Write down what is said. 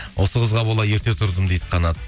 осы қызға бола ерте тұрдым дейді қанат